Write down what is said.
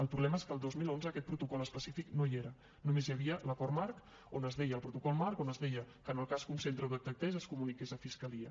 el problema és que el dos mil onze aquest protocol específic no hi era només hi havia l’acord marc el protocol marc on es deia que en el cas que un centre ho detectés es comuniqués a fiscalia